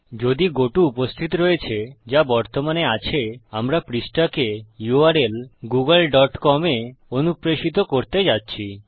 যদি গত উপস্থিত রয়েছে যা বর্তমানে আছে আমরা পৃষ্ঠাকে u r ল গুগল ডট কম এ অনুপ্রেশিত করতে যাচ্ছি